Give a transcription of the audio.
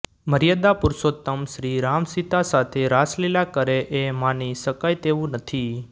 મર્યાદા પુરુષોત્તમ શ્રી રામસીતા સાથે રાસલીલા કરે એ માની શકાય તેવું નથી